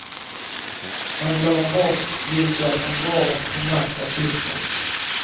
Man glömmer bort vilka som vården primärt är till för.